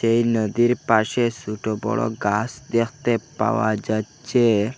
এই নদীর পাশে সুটো বড়ো গাস দেখতে পাওয়া যাচ্চে।